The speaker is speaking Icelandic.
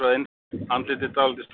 Andlitið dálítið stórgert.